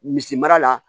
Misi mara la